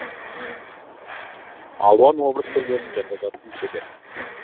алуан образ түрлерін жасауда тым шебер